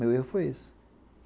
Meu erro foi esse.